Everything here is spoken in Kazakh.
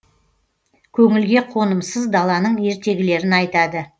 көңілге қонымсыз даланың ертегілерін айтады